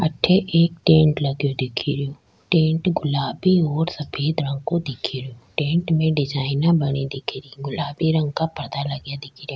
अठे एक टेंट लगी दिख रो टेंट गुलाबी और सफ़ेद रंग को दिख रो टेंट में डिजाइन बने दिख री गुलाबी रंग का पर्दा लगा दिख रा।